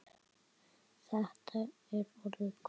Þetta er orðið gott.